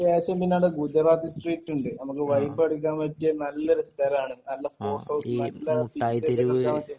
അതിന് ശേഷം പിന്നെ ഗുജറാത്തി സ്ട്രീറ്റ് ഉണ്ട് നമുക്ക് വൈബ് അടിക്കാൻ പറ്റിയ നല്ലൊരു സ്ഥലാണ് നല്ല ഫോട്ടോസും നല്ല